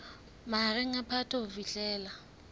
mahareng a phato ho fihlela